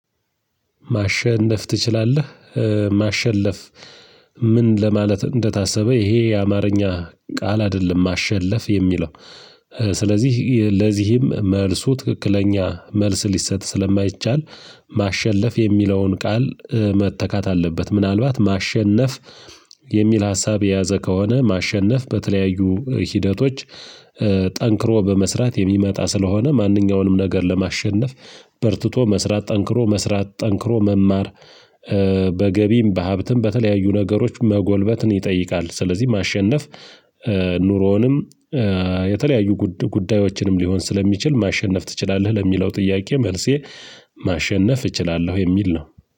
ማሸነፍ ትችላለህ? ማሸለፍ ምን ለማለት እንደታሰበ ይሄ የአማርኛ ቃል አይደለም ማሸለፍ የሚለው። ስለዚህ ለዚህም መልሱ ትክክለኛ መልስ ሊሰጥ ስለማይቻል። ማሸለፍ የሚለውን ቃል መተካት አለበት። ምናልባት ማሸነፍ የሚል ሀሳብ የያዘ ከሆነ ማሸነፍ በተለያዩ ሂደቶች። ጠንክሮ በመስራት የሚመጣ ስለሆነ ማንኛውንም ነገር ለማሸነፍ በርትቶ መስራት ጠንክሮ መስራት ጠንክሮ መማር። በገቢም በሀብትም በተለያዩ ነገሮች መጎልበትን ይጠይቃል። ስለዚህ ማሸነፍ ኑሮውንም የተለያዩ ጉዳዮችንም ሊሆን ስለሚችል ማሸነፍ ትችላለህ ለሚለው ጥያቄ መልሴ ማሸነፍ እችላለሁ። የሚል ነው።